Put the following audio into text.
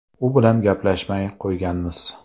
U bilan gaplashmay qo‘yganmiz.